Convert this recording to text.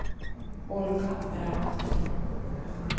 Olga Brandt